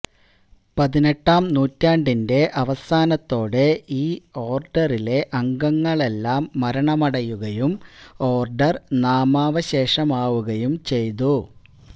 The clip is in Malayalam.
പതിനെട്ടാം നൂറ്റാണ്ടിന്റെ അവസാനത്തോടെ ഈ ഓർഡറിലെ അംഗങ്ങളെല്ലാം മരണമടയുകയും ഓർഡർ നാമാവശേഷമാവുകയും ചെയ്തു